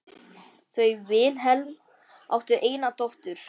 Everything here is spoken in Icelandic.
Þau Vilhelm áttu eina dóttur.